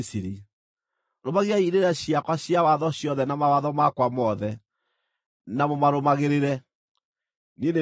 “ ‘Rũmagiai irĩra ciakwa cia watho ciothe na mawatho makwa mothe, na mũmarũmagĩrĩre. Niĩ nĩ niĩ Jehova.’ ”